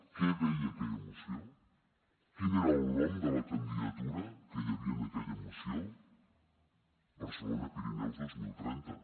què deia aquella moció quin era el nom de la candidatura que hi havia en aquella moció barcelona pirineus dos mil trenta